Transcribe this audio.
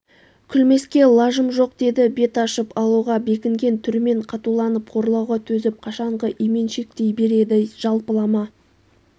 күлмеске лажым жоқ деді бет ашып алуға бекінген түрмен қатуланып қорлауға төзіп қашанғы именшектей береді жалпылама